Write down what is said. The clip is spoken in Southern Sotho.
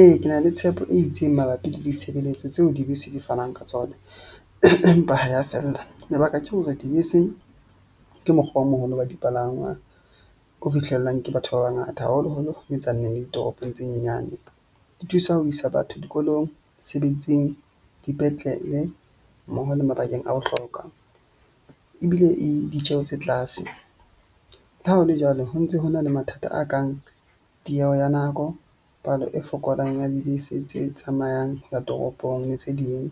Ee, ke na le tshepo e itseng mabapi le ditshebeletso tseo dibese di fanang ka tsona. Empa ha ya fella, lebaka ke hore dibese ke mokgwa o moholo wa dipalangwa, o fihlellang ke batho ba bangata, haholoholo ho le ditoropong tse nyenyane. Di thusa ho isa batho dikolong, mesebetsing, dipetlele mmoho le mabakeng a bohlokwa. Ebile e ditjeho tse tlase le ha ho le jwalo, ho ntse ho na le mathata a kang tieho ya nako, palo e fokolang ya dibese tse tsamayang ho ya toropong le tse ding